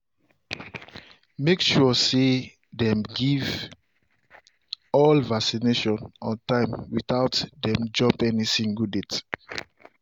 make sure say dem give all vaccination on time without dem jump any single date